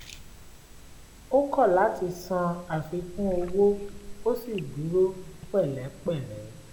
ó kọ̀ lati san àfikún owó ó sì dúró pẹ̀lẹ́pẹ̀lẹ́